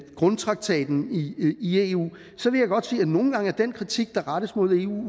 grundtraktaten i eu sige at nogle gange er den kritik der rettes mod eu